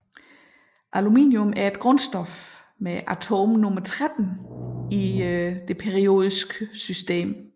Aluminium er et grundstof med atomnummer 13 i det periodiske system